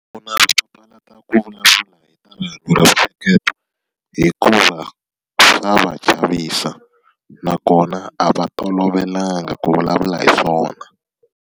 hikuva swa chavisa, nakona a va tolovelanga ku vulavula hi swona.